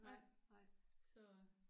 Nej nej nej